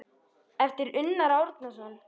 eftir Unnar Árnason